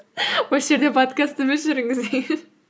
осы жерде подкастты өшіріңіз